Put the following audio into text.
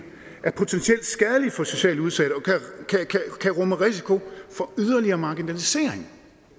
er potentielt skadeligt for socialt udsatte og kan rumme risiko for yderligere marginalisering